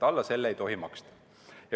Alla selle ei tohi maksta.